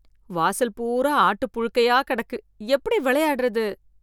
வாசல் பூரா ஆட்டு புழுக்கையா கிடக்கு, எப்படி விளையாடறது?